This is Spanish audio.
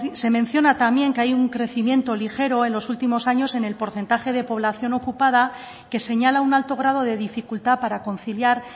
se menciona también que hay un crecimiento ligero en los últimos años en el porcentaje de población ocupada que señala un alto grado de dificultad para conciliar